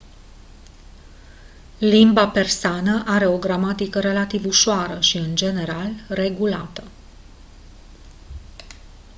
limba persană are o gramatică relativ ușoară și în general regulată